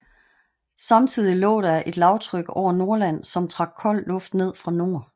Samtidig lå der et lavtryk over Nordland som trak kold luft ned fra nord